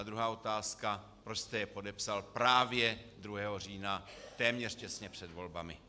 A druhá otázka: Proč jste je podepsal právě 2. října téměř těsně před volbami?